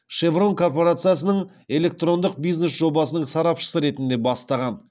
шеврон корпорациясының электрондық бизнес жобасының сарапшысы ретінде бастаған